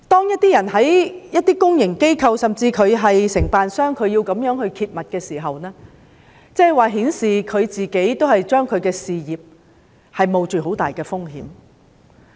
因此，有些人在公營機構、甚至是承辦商工作而想揭密時，他們已經令自己的事業蒙上很大風險。